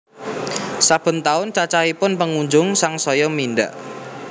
Saben taun cacahipun pengunjung sangsaya mindhak